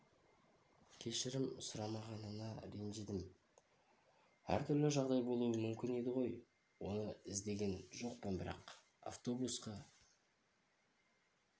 кешірім сұрамағанына ренжідім әр түрлі жағдай болуы мүмкін еді ғой оны іздеген жоқпын бірақ автобусқа